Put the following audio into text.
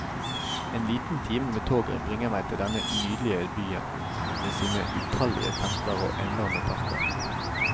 En liten time med toget bringer meg til denne nydelige byen med sine utallige templer og enorme parker.